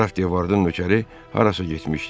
Qraf de Vardın nökəri harasa getmişdi.